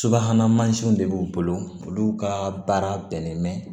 Subahana mansinw de b'u bolo olu ka baara bɛnnen bɛ